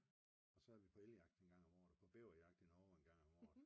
Og så er vi på elge jagt en gang om året på bæver jagt endnu en gang om året